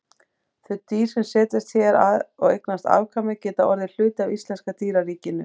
Þau dýr sem setjast hér að og eignast afkvæmi geta orðið hluti af íslenska dýraríkinu.